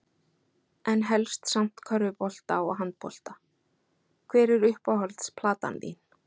En helst samt körfubolta og handbolta Hver er uppáhalds platan þín?